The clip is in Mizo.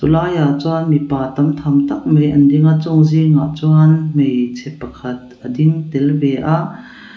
laiah chuan mipa tam tham tak mai an ding a chung zingah chuan hmeichhe pakhat a ding tel ve a.